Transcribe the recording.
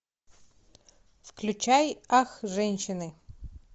включай ах женщины